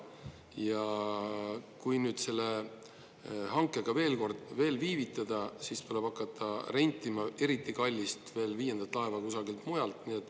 Ja kui nüüd selle hankega veel kord viivitada, siis tuleb hakata rentima eriti kallist viiendat laeva kusagilt mujalt.